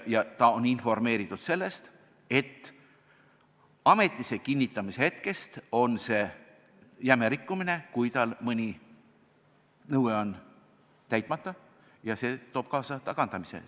Teda on informeeritud sellest, et ametisse kinnitamise hetkest on see, kui tal mõni nõue on täitmata, jäme rikkumine, mis toob kaasa tagandamise.